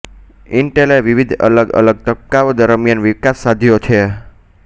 ઇન્ટેલે વિવિધ અલગ અલગ તબક્કાઓ દરમિયાન વિકાસ સાધ્યો છે